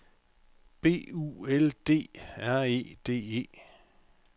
B U L D R E D E